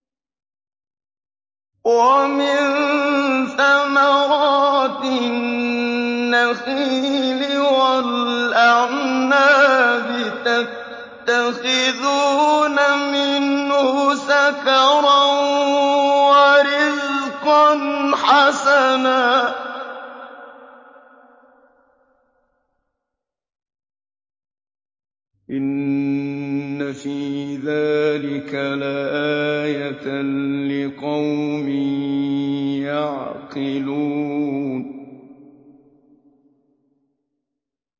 وَمِن ثَمَرَاتِ النَّخِيلِ وَالْأَعْنَابِ تَتَّخِذُونَ مِنْهُ سَكَرًا وَرِزْقًا حَسَنًا ۗ إِنَّ فِي ذَٰلِكَ لَآيَةً لِّقَوْمٍ يَعْقِلُونَ